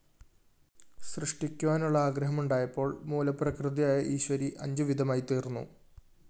സൃഷ്ടിക്കുവാനുള്ള ആഗ്രഹമുണ്ടായപ്പോള്‍ മൂലപ്രകൃതിയായ ഈശ്വരി അഞ്ചുവിധമായിത്തീര്‍ന്നു